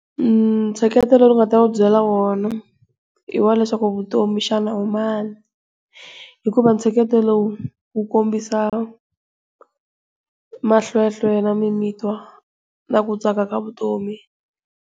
Ummh, ntsheketelo lowu ndzi nga ta va byela wona i wa leswaku vutomi xana u mani, hikuva ntsheketo lowu wu kombisa mahlwehlwe na mimitwa na ku tsaka ka vutomi.